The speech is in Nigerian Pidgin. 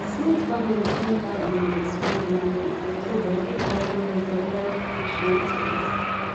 smith family change how dem dey spend monthly so dem fit carry the surprise vacation expense